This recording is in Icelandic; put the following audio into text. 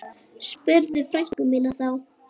spurði frænka mín þá.